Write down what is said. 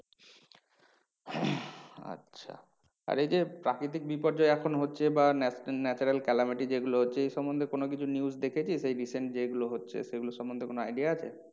আচ্ছা আর এই যে প্রাকৃতিক বিপর্যয় এখন হচ্ছে বা natural calamity যে গুলো হচ্ছে এই সমন্ধে কোনো কিছু news দেখেছিস এই recent যেই গুলো হচ্ছে সেই গুলোর সম্বন্ধে কোনো idea আছে?